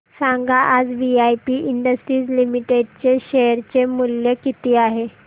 सांगा आज VIP industries limited चे शेअर चे मूल्य किती आहे